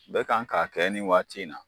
Bɛ kan k'a kɛ ni waati in na